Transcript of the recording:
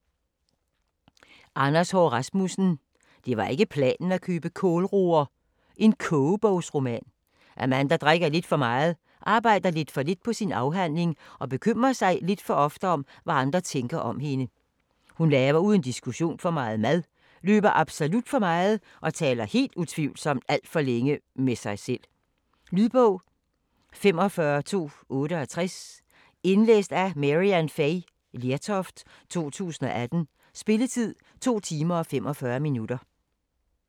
Haahr Rasmussen, Anders: Det var ikke planen at købe kålroer: kogebogsroman Amanda drikker lidt for meget, arbejder lidt for lidt på sin afhandling og bekymrer sig lidt for ofte om hvad andre tænker om hende. Hun laver uden diskussion for meget mad, løber absolut for meget og taler helt utvivlsomt alt for længe med sig selv. Lydbog 45268 Indlæst af Maryann Fay Lertoft, 2018. Spilletid: 2 timer, 45 minutter.